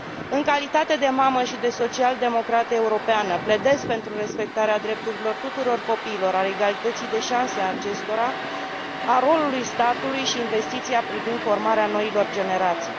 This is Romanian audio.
În calitate de mamă și de social democrată europeană, pledez pentru respectarea drepturilor tuturor copiilor, a egalității de șanse a acestora, a rolului statului și pentru investiția privind formarea noilor generații.